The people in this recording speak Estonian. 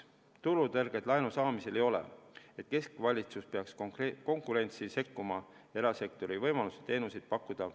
Turutõrget laenu saamisel ei ole, et keskvalitsus peaks konkurentsi sekkuma ja vähendama erasektori võimalusi teenuseid pakkuda.